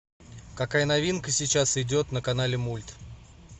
какая новинка сейчас идет на канале мульт